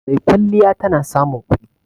Maikwalliya tana samun kudi